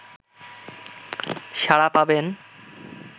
সাড়া পাবেন